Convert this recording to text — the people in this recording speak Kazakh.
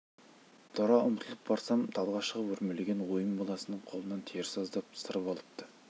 тұра ұмтылып барсам талға шығып өрмелеген ойын баласы қолының терісін аздап сырып алыпты